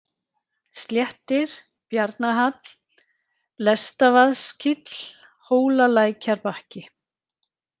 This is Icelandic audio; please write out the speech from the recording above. Sléttir, Bjarnahall, Lestavaðskíll, Hólalækjarbakki